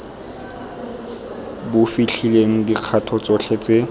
bo fitlhelelang dikgato tsotlhe tse